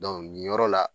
nin yɔrɔ la